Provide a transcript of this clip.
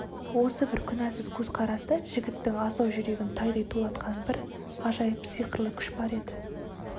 осы бір күнәсіз көзқараста жігіттің асау жүрегін тайдай тулатқан бір ғажайып сиқырлы күш бар еді